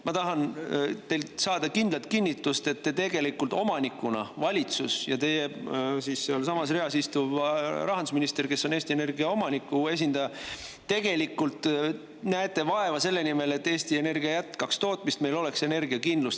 Ma tahan teilt saada kindlat kinnitust, et te tegelikult omanikuna – valitsus ja teiega samas reas istuv rahandusminister, kes on Eesti Energia omaniku esindaja – näete vaeva selle nimel, et Eesti Energia jätkaks tootmist, et meil oleks energiakindlus.